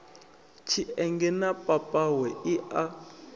tshienge na mapapawe i a